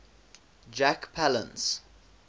jack palance